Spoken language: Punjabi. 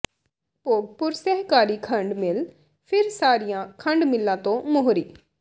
ਭੋਗਪੁਰ ਸਹਿਕਾਰੀ ਖੰਡ ਮਿੱਲ ਫਿਰ ਸਾਰੀਆਂ ਖੰਡ ਮਿੱਲਾਂ ਤੋਂ ਮੋਹਰੀ